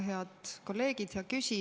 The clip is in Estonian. Head kolleegid!